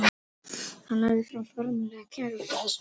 Hann lagði fram formlega kæru út af þessu.